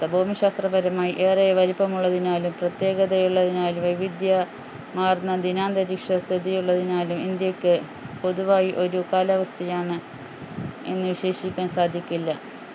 ഭൂമിശാസ്ത്രപരമായി ഏറെ വലുപ്പമുള്ളതിനാലും പ്രതേകതയുള്ളതിനാലും വൈവിധ്യ മാർന്ന ദിനാന്തരീക്ഷ സ്ഥിതിയുള്ളതിനാലും ഇന്ത്യക്ക് പൊതുവായി ഒരു കാലാവസ്ഥയാണ് എന്നു വിശ്വസിക്കാൻ സാധിക്കില്ല